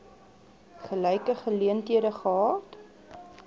gelyke geleenthede gehad